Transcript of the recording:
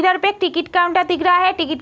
इधर पे एक टिकट काउंटर दिख रहा है। टिकट --